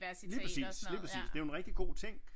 Lige præcis lige præcis det er jo en rigtig god ting